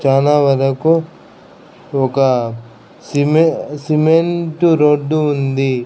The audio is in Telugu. చానా వరకు ఒక సిమెం సిమెంటు రోడ్డు ఉంది.